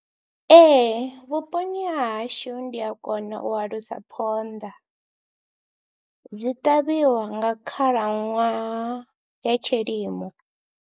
Ee vhuponi ha hashu ndi a kona u alusa phonḓa, dzi ṱavhiwa nga khalaṅwaha ya tshilimo.